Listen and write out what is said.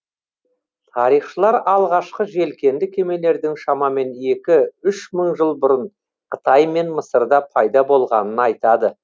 тарихшылар алғашқы желкенді кемелердің шамамен екі үш мың жыл бұрын қытай мен мысырда пайда болғанын айтады